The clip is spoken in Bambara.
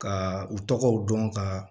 Ka u tɔgɔw dɔn ka